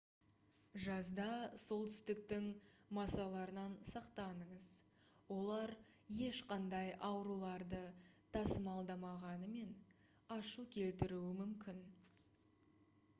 жазда солтүстіктің масаларынан сақтаныңыз олар ешқандай ауруларды тасымалдамағанымен ашу келтіруі мүмкін